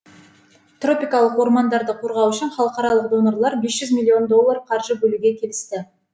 тропикалық ормандарды қорғау үшін халықаралық донорлар бес жүз миллион доллар қаржы бөлуге келісті